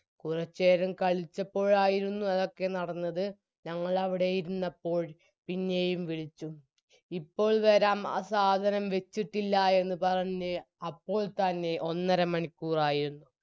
കുറച്ചേരം കളിച്ചപ്പോളായിരുന്നു അതൊക്കെ നടന്നത് ഞങ്ങളവിടെ ഇരുന്നപ്പോൾ പിന്നെയും വിളിച്ചു ഇപ്പോൾ വരം ആ സാധനം വെച്ചിട്ടില്ല എന്ന് പറഞ്ഞ് അപ്പോൾ തന്നെ ഒന്നരമണിക്കൂറായിരുന്നു